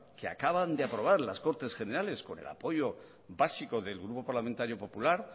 que acaban de aprobar las cortes generales con el apoyo básico del grupo parlamentario popular